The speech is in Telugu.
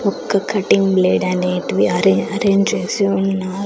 ఒక్క కటింగ్ బ్లేడ్ అనేటివి అరే అరేంజ్ చేసి ఉన్నారు.